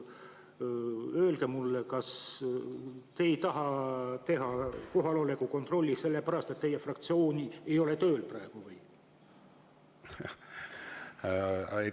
Öelge mulle: kas te ei taha teha kohaloleku kontrolli sellepärast, et teie fraktsiooni ei ole tööl praegu?